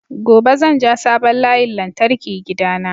Gobe zan ja sabon layin lantarki gida na